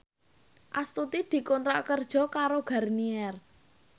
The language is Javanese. Astuti dikontrak kerja karo Garnier